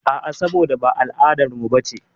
A'a, saboda ba al'adarmu bace.